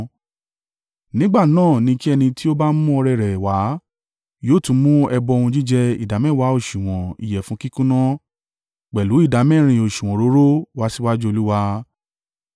nígbà náà ni kí ẹni tí ó bá mú ọrẹ rẹ̀ wá, yóò tún mú ẹbọ ohun jíjẹ ìdámẹ́wàá òsùwọ̀n ìyẹ̀fun kíkúnná pẹ̀lú ìdámẹ́rin òsùwọ̀n òróró wá síwájú Olúwa.